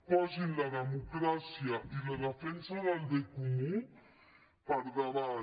posin la democràcia i la defensa del bé comú per davant